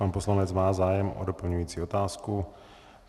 Pan poslanec má zájem o doplňující otázku.